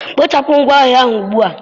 Kpochapụ ngwa ahịa a ugbu a!